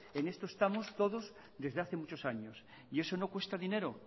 en esto estamos todos desde hace muchos años y eso no cuesta dinero